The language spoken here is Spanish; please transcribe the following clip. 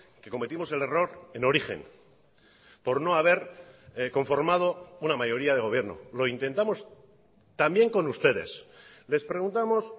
que cometimos el error en origen por no haber conformado una mayoría de gobierno lo intentamos también con ustedes les preguntamos